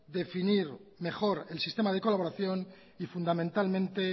definir mejor el sistema de colaboración y fundamentalmente